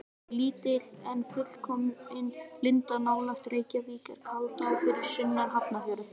Lítil en fullkomin lindá nálægt Reykjavík er Kaldá fyrir sunnan Hafnarfjörð.